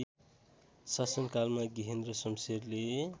शासनकालमा गेहेन्द्र शमशेरले